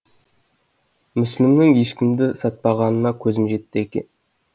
мүсілімнің ешкімді сатпағанына көзім жетті деген